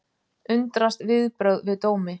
Undrast viðbrögð við dómi